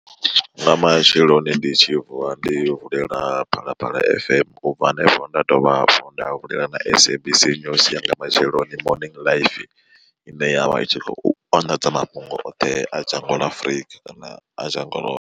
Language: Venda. Nga matsheloni ndi tshi vuwa ndi vulela Phalaphala F_M ubva hanefho nda dovha hafhu nda vulela na SABC News ya nga matsheloni morning live ine yavha i tshi khou anḓadza mafhungo oṱhe a dzhango ḽa Afrika kana a dzhango ḽo.